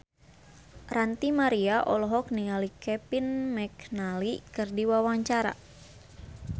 Ranty Maria olohok ningali Kevin McNally keur diwawancara